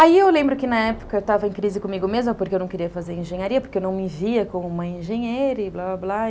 Aí eu lembro que na época eu estava em crise comigo mesma porque eu não queria fazer engenharia, porque eu não me via como uma engenheira e blá, blá, blá.